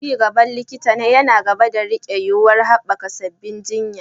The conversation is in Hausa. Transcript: Ci gaban likita na gaba yana riƙe da yuwuwar haɓaka sabbin jinya.